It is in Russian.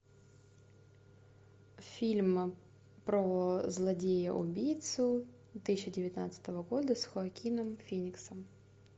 фильм про злодея убийцу две тысячи девятнадцатого года с хоакином фениксом